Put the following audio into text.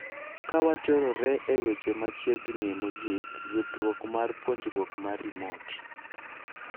Kawachorore e weche machiegnie mogik ,yudruok mar puonjruok mar remote